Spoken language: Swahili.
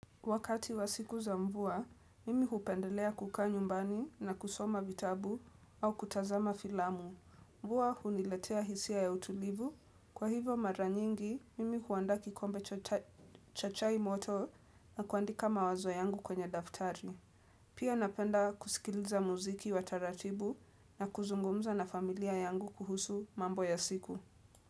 Wakati wa siku za mvua, mimi hupendelea kukaa nyumbani na kusoma vitabu au kutazama filamu. Mvua huniletea hisia ya utulivu. Kwa hivo mara nyingi, mimi huandaa kikombe cha chai moto na kuandika mawazo yangu kwenye daftari. Pia napenda kusikiliza muziki wa taratibu na kuzungumza na familia yangu kuhusu mambo ya siku.